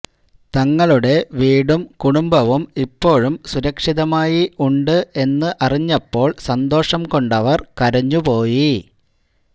തങ്ങളുടെ വീടും കുടുംബവും ഇപ്പോഴും സുരക്ഷിതമായി ഉണ്ട് എന്നറിഞ്ഞപ്പോള് സന്തോഷം കൊണ്ടവര് കരഞ്ഞു പോയി